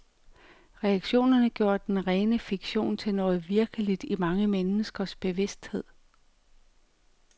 Reaktionerne gjorde den rene fiktion til noget virkeligt i mange menneskers bevidsthed.